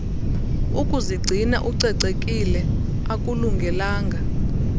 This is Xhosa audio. ukuzigcina ucocekile akulungelanga